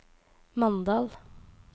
Mandal